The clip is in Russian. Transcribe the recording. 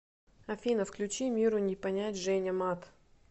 афина включи миру не понять женя мад